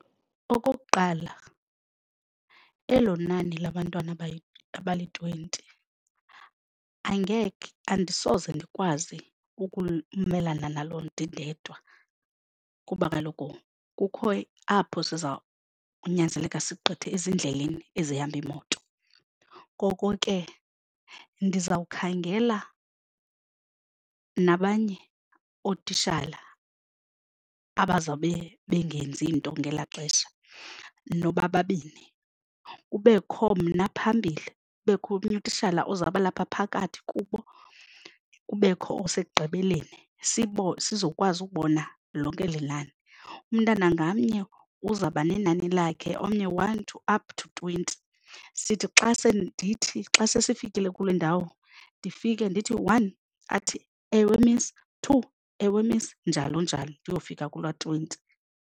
Okokuqala, elo nani labantwana abali-twenty angeke andisoze ndikwazi ukumelana nalo ndindedwa kuba kaloku kukho apho siza kunyanzeleka sigqithe ezindleleni ezihamba iimoto. Koko ke ndizawukhangela nabanye ootishala abazawube bengenzi nto ngelaa xesha nobababini, kubekho mna phambili, kubekho omnye kutishala ozawubalapha phakathi kubo, kubekho osekugqibeleni sizokwazi ukubona lonke eli nani. Umntana ngamnye uzawuba nenani lakhe, omnye one to up to twenty, sithi xa se ndithi xa sesifikile kule ndawo ndifike ndithi one athi, ewe Miss, two ewe Miss njalo njalo ndiyofika kula twenty.